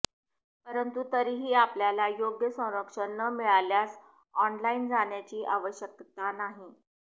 परंतु तरीही आपल्याला योग्य संरक्षण न मिळाल्यास ऑनलाइन जाण्याची आवश्यकता नाही